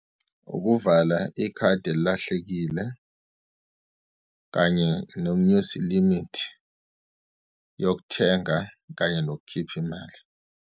Ukuvala ikhadi elilahlekile, kanye nokunyusa i-limit yokuthenga kanye nokukhipha imali.